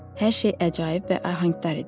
Hər şey əcaib və ahəngdar idi.